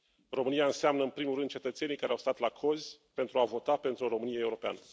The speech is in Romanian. România înseamnă, în primul rând, cetățenii care au stat la cozi pentru a vota pentru o Românie europeană.